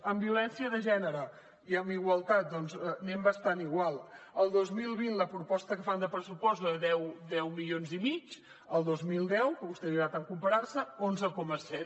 en violència de gènere i en igualtat doncs anem bastant igual el dos mil vint la proposta que fan de pressupost és de deu milions i mig el dos mil deu amb què a vostè li agrada tant comparar se onze coma set